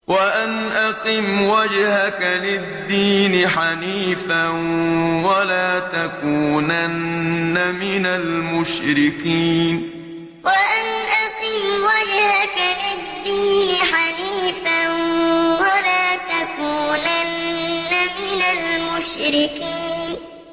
وَأَنْ أَقِمْ وَجْهَكَ لِلدِّينِ حَنِيفًا وَلَا تَكُونَنَّ مِنَ الْمُشْرِكِينَ وَأَنْ أَقِمْ وَجْهَكَ لِلدِّينِ حَنِيفًا وَلَا تَكُونَنَّ مِنَ الْمُشْرِكِينَ